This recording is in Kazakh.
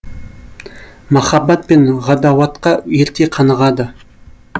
махаббат пен ғадауатқа ерте қанығады